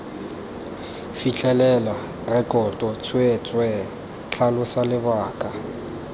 fitlhelela rekoto tsweetswee tlhalosa lebaka